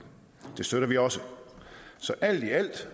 det støtter vi også så alt i alt